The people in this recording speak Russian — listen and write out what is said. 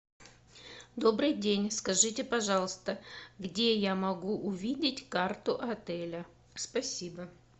добрый день скажите пожалуйста где я могу увидеть карту отеля спасибо